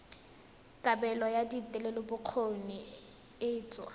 kabelo ya thetelelobokgoni e tsewa